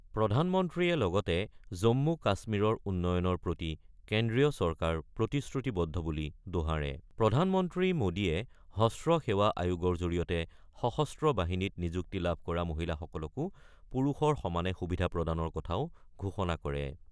প্ৰধানমন্ত্ৰীয় লগতে জম্মু-কাশ্মীৰৰ উন্নয়নৰ প্ৰতি কেন্দ্ৰীয় চৰকাৰ প্ৰতিশ্ৰুতিবদ্ধ বুলি দোহাৰে৷ প্ৰধানমন্ত্ৰী মোদীয়ে হ্ৰস্ব সেৱা আয়োগৰ জৰিয়তে সশস্ত্ৰ বাহিনীত নিযুক্তি লাভ কৰা মহিলাসকলকো পুৰুষৰ সমানে সুবিধা প্ৰদানৰ কথাও ঘোষণা কৰে।